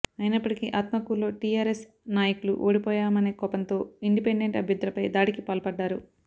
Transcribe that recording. అయినప్పటికీ ఆత్మకూరులో టీఆర్ఎస్ నాయకులు ఓడిపోయామనే కోపంతో ఇండిపెండెంట్ అభ్యర్థులపై దాడికి పాల్పడ్డారు